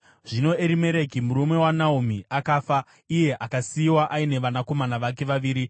Zvino Erimereki, murume waNaomi akafa, iye akasiyiwa aine vanakomana vake vaviri.